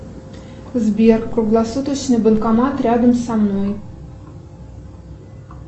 сбер круглосуточный банкомат рядом со мной